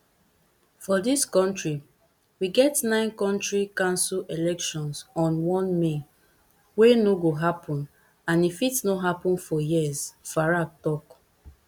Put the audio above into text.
for dis kontri we get nine county council elections on one may wey no go happun and e fit no happun for years farage tok